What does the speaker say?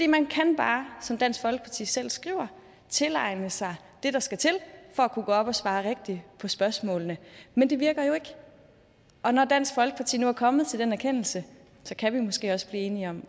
man kan bare som dansk folkeparti selv skriver tilegne sig det der skal til for at kunne gå op og svare rigtigt på spørgsmålene men det virker jo ikke og når dansk folkeparti nu er kommet til den erkendelse kan vi måske også blive enige om